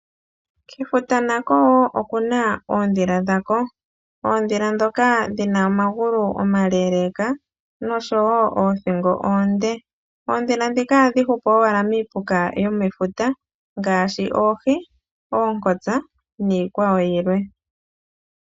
Kefuta nako wo oku na oondhila dhako. Oondhila ndhoka dhi na omagulu omaleeleeka nosho wo oothingo oonde. Oondhila ndhika ohadhi hupu owala miipuka yomefuta ngaashi oohi, oonkotsa niikwawo yilwe.